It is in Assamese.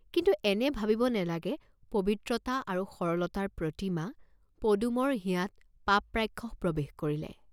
কিন্তু এনে ভাবিব নেলাগে পবিত্ৰতা আৰু সৰলতাৰ প্ৰতিমা পদুমৰ হিয়াত পাপ ৰাক্ষস প্ৰবেশ কৰিলে।